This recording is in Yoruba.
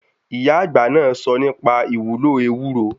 Ìyá àgbà náà sọ nípa ìwúlò ewúro.